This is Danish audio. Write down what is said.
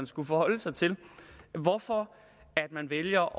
skulle forholde sig til hvorfor vælger